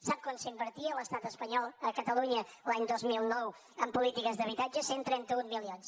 sap quant invertia l’estat espanyol a catalunya l’any dos mil nou en polítiques d’habitatge cent i trenta un milions